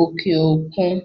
òkè òkun